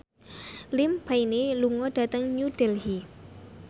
Liam Payne lunga dhateng New Delhi